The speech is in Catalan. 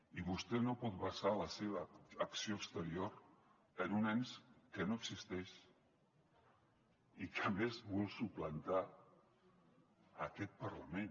i vostè no pot basar la seva acció exterior en un ens que no existeix i que a més vol suplantar aquest parlament